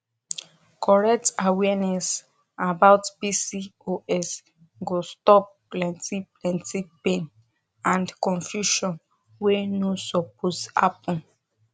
correct awareness about pcos go stop plenty plenty pain and confusion wey no suppose happen